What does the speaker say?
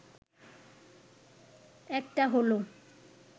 একটা হলো